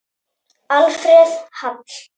Alfreð Hall.